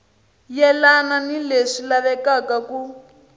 yelani ni leswi lavekaka ku